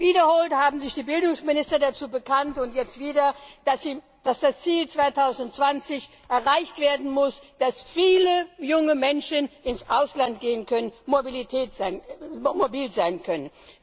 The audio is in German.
Wiederholt haben sich die Bildungsminister dazu bekannt und jetzt wieder dass das Ziel 2020 erreicht werden muss, dass viele junge Menschen ins Ausland gehen können, mobil sein können.